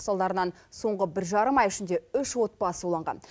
салдарынан соңғы бір жарым ай ішінде үш отбасы уланған